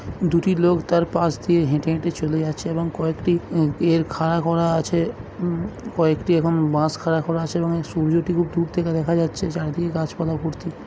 দুটি লোক তার পাশ দিয়ে হেঁটে হেঁটে চলে যাচ্ছে এবং কয়েকটি উ ইয়ের খাড়া করা আছে। উমম কয়েকটি এখন বাঁশ খাড়া করা আছে এবং সূর্যটি খুব দূর থেকে দেখা যাচ্ছে চারিদিকে গাছ পালা ভর্তি।